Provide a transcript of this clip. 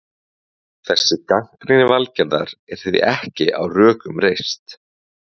Þessi gagnrýni Valgerðar er því ekki á rökum reist.